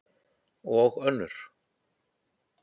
Og önnur.